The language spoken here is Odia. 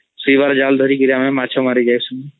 ସେଇବାର୍ ଜାଲ୍ ଧରିକି ଆମେ ମାଛ ମାରିକୀ ଆସୁ